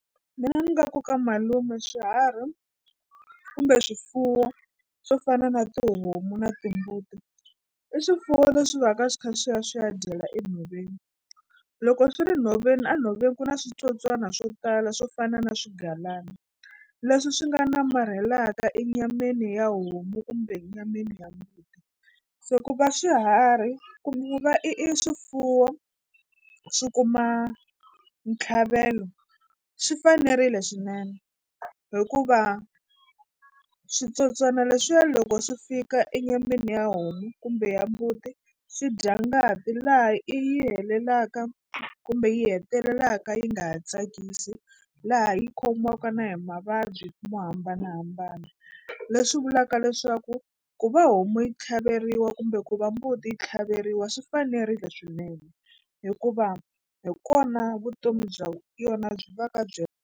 Mina ni nga ku ka malume swiharhi kumbe swifuwo swo fana na tihomu na timbuti i swifuwo leswi va ka swi kha swi ya swi ya dyela enhoveni. Loko swi ri nhoveni a nhoveni ku na switsotswana swo tala swo fana na swigalana leswi swi nga namarhelaka enyameni ya homu kumbe nyameni ya mbuti se ku va swiharhi va i i i swifuwo swi kuma ntlhavelo swi fanerile swinene hikuva switsotswana leswiya loko swi fika enyameni ya homu kumbe ya mbuti swi dya ngati laha yi helelaka kumbe yi hetelelaka yi nga ha tsakisi laha yi khomiwaka na hi mavabyi mo hambanahambana leswi vulaka leswaku ku va homu yi tlhaveriwa kumbe ku va mbuti yi tlhaveriwa swi fanerile swinene hikuva hi kona vutomi bya yona byi va ka byi.